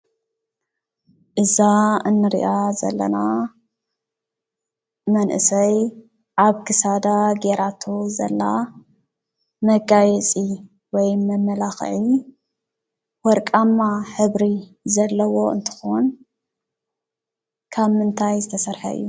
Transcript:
እዛ እንሪኣ ዘለና መንእሰይ ኣብ ክሳዳ ጌራቶ ዘላ መጋየፂ ወይ መመላክዒ ወርቃማ ሕብሪ ዘለዎ እንትኾን ካብ ምንታይ ዝተሰርሐ እዩ ?